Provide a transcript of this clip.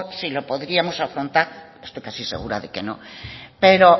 sí lo podríamos afrontar estoy casi segura de que no pero